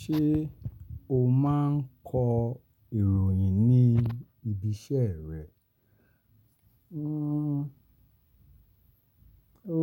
Ṣé o máa ń kọ ìròyìn ní ibi iṣẹ́ rẹ?